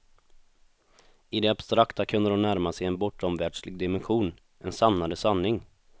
I det abstrakta kunde de närma sig en bortomvärldslig dimension, en sannare sanning.